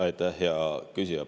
Aitäh, hea küsija!